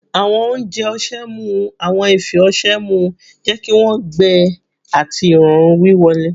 Awọn ounjẹ ọṣẹ mu awọn ifi ọṣẹ mu, jẹ ki wọn gbẹ ati irọrun wiwọle